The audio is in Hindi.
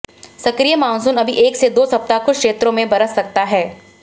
सक्रिय मानसून अभी एक से दो सप्ताह कुछ क्षेत्रों में बरस सकता है